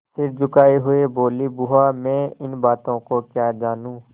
सिर झुकाये हुए बोलीबुआ मैं इन बातों को क्या जानूँ